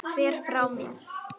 Fer frá mér.